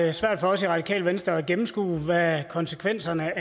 er svært for os i radikale venstre at gennemskue hvad konsekvenserne